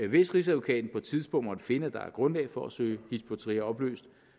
hvis rigsadvokaten på et tidspunkt måtte finde at der er grundlag for at søge hizb ut tahrir opløst